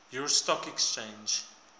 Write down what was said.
york stock exchange